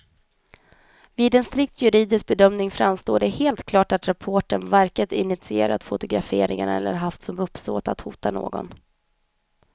Vid en strikt juridisk bedömning framstår det som helt klart att reportern varken initierat fotograferingen eller haft som uppsåt att hota någon.